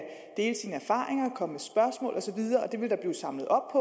dele sine erfaringer og komme og det vil der blive samlet op